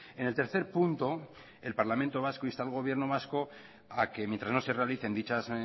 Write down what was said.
en el tercer punto el parlamento vasco insta al gobierno vasco a que mientras no se realicen dichas